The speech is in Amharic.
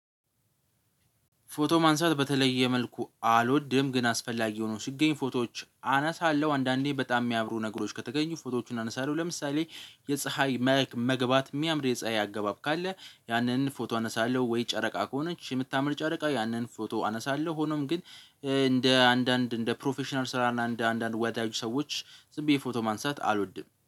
ፎቶ ማንሳት በተለየ መልኩ አልወድም ግን አስፈላጊ ሆኖ ሲገኝ ፎቶዎች አነሳለሁ አንዳንዴ በጣም የሚያምሩ ነገሮች ከተገኙ ፎቶዎቹን አነሳለሁ። ለምሳሌ የፀሀይ መልክ መግባት የሚያምር የፀሀይ አገባብ ካለ ያንን ፎቶ አነሳለሁ ወይ ጨረቃ ከሆነች የምታምር ጨረቃ ያንን ፎቶ አነሳለሁ። ሆኖም ግን እንደ አንዳንድ እንደ ፕሮፌሽናል ስራ እና እንደ አንዳንድ ወዳጅ ሰዎች ዝም ብዬ ፎቶ ማንሳት አልወድም